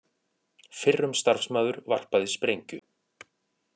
Fyrrum starfsmaður varpaði sprengju